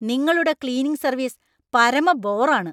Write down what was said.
നിങ്ങളുടെ cleaning service പരമ ബോറാണ്.